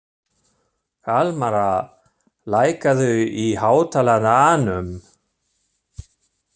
Kalmara, lækkaðu í hátalaranum.